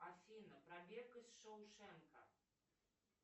афина пробег из шоушенка